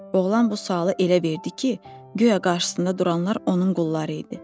Oğlan bu sualı elə verdi ki, güya qarşısında duranlar onun qulları idi.